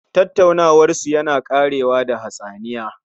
Tattaunawarsu yana ƙarewa da hatsaniya